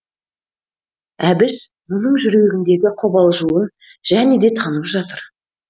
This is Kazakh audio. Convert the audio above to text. әбіш бұның жүрегіндегі қобалжуын және де танып жатыр